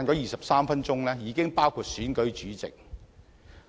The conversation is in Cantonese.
23分鐘的會議時間已包含選舉主席、香